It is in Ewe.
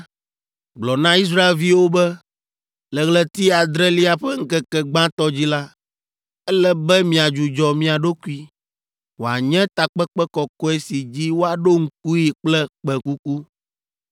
“Gblɔ na Israelviwo be, ‘Le ɣleti adrelia ƒe ŋkeke gbãtɔ dzi la, ele be miadzudzɔ mia ɖokui, wòanye takpekpe kɔkɔe si dzi woaɖo ŋkui kple kpẽkuku.